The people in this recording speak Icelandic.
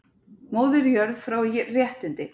Móðir jörð fái réttindi